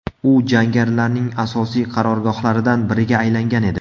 U jangarilarning asosiy qarorgohlaridan biriga aylangan edi.